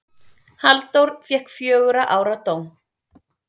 Halldór fékk fjögurra ára dóm.